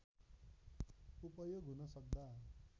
उपयोग हुन सक्दा